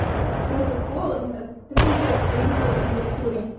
короче холодно мне трындец при любой температуре